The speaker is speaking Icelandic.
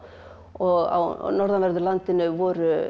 og á norðanverðu landinu voru